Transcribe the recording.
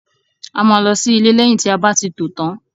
A máa lọ sí ilé lẹyìn tí a bá ti tò tán.